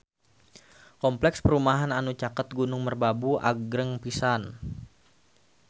Kompleks perumahan anu caket Gunung Merbabu agreng pisan